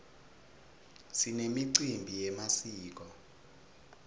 sinemicimbi yemasiko